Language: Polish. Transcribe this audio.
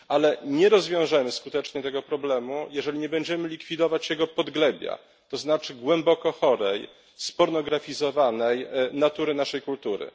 Ale nie rozwiążemy skutecznie tego problemu, jeżeli nie będziemy likwidować jego podglebia, to znaczy głęboko chorej, spornografizowanej natury naszej kultury.